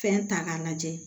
Fɛn ta k'a lajɛ